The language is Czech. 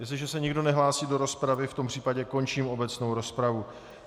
Jestliže se nikdo nehlásí do rozpravy, v tom případě končím obecnou rozpravu.